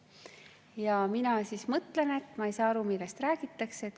Ja mina mõtlen, et ma ei saa aru, millest räägitakse.